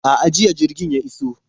A'a, jiya jirgin ya iso.